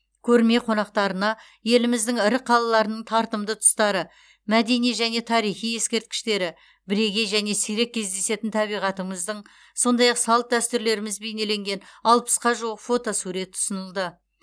көрме қонақтарына еліміздің ірі қалаларының тартымды тұстары мәдени және тарихи ескерткіштері бірегей және сирек кездесетін табиғатымыздың сондай ақ салт дәстүрлеріміз бейнеленген алпысқа жуық фотосурет ұсынылды